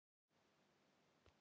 Æða út í sjoppu!